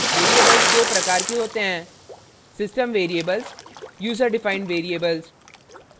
variables दो प्रकार के होते हैं system variables user defined variables